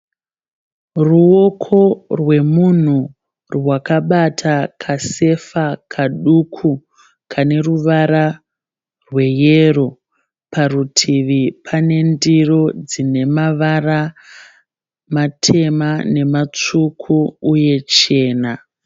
Ruwoko rwemunhu rwakabata kasefa kaduku kane ruvara rwe yero. Parutivi pane ndiro dzine mavara matema nematsvuku uye chena.